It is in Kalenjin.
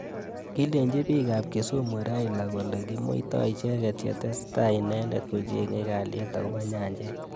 Kileji bik ab Kisumu Raila kole komuita icheket yetesetai inendet kochengei kalyet akobo nyanjet.